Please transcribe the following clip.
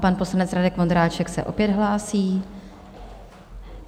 Pan poslanec Radek Vondráček se opět hlásí.